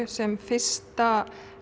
sem fyrsta